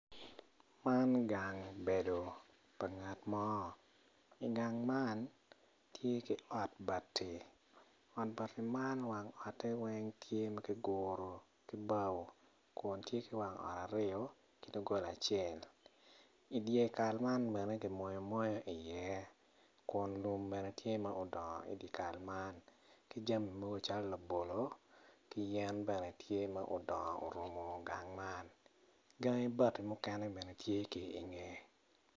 Man gang bedo pa ngat mo i gang man tye ki ot bati ot bati man wang ote weng tye ma kiguro ki bao kun tye ki wang ot aryo ki dog gola acel i dye kal man bene kimoyo moyo iye kun lum bene tye ma odongo i dye kal man ki jami mogo calo labolo ki yen bene tye ma odongo orumu gang man. Gangi bati mukene bene tye ki i ngeye.